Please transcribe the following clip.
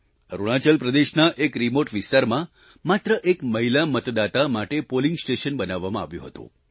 અરૂણાચલ પ્રદેશના એક રિમોટ વિસ્તારમાં માત્ર એક મહિલા મતદાતા માટે પોલિંગ સ્ટેશન બનાવવામાં આવ્યું હતું